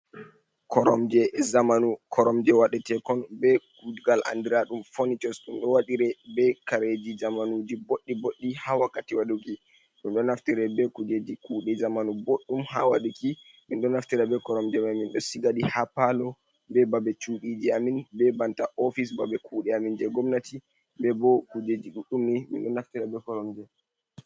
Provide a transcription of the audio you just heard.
Koromje zamanu koromje waɗetekon be kuugal andiraɗum ponishos ɗum ɗo waɗire be kareeji zamanuji boɗɗi boɗɗi ha wakkati waɗuki, ɗum ɗo naftira be kujeeji kuuɗe zamanu bodɗum ha waɗuki, men ɗo naftira be koromje mai men ɗo sigaɗi ha paalo, be babe chuɗiji amen be banta ofis babe kuude amen je gomnati, be bo kujeeji ɗuɗɗum ni men ɗo naftira be koromje.